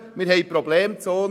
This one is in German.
Wir haben Problemzonen.